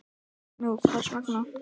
Nú, hvers vegna?